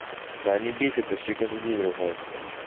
да они бесят вообще каждый день ругаются